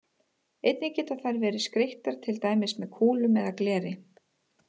Einnig geta þær verið skreyttar til dæmis með kúlum eða gleri.